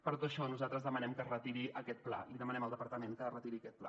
per tot això nosaltres demanem que es retiri aquest pla demanem al departament que retiri aquest pla